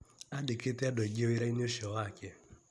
Andĩkĩte andũ aingĩ wĩra-inĩ cio wake.